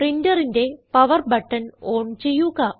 പ്രിന്ററിന്റെ power button on ചെയ്യുക